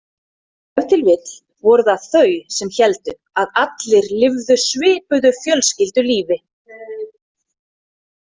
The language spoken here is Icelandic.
Ef til vill voru það þau sem héldu að allir lifðu svipuðu fjölskyldulífi.